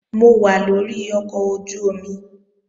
Mo wà lórí ọkọ̀ ojú-omi